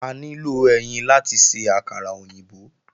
A nílò ẹyin láti ṣe àkàrà òyìnbó